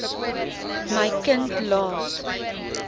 my kind laat